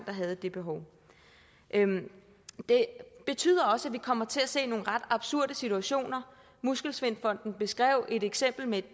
havde det behov det betyder også at vi kommer til at se nogle ret absurde situationer muskelsvindfonden beskrev et eksempel med